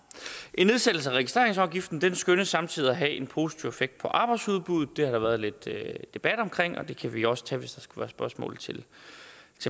en nedsættelse af registreringsafgiften skønnes samtidig at have en positiv effekt på arbejdsudbuddet det har der været lidt debat omkring og den kan vi også tage hvis der skulle være spørgsmål til